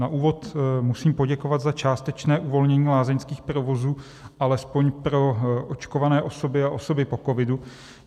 Na úvod musím poděkovat za částečné uvolnění lázeňských provozů alespoň pro očkované osoby a osoby po covidu.